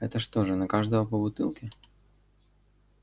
это что же на каждого по бутылке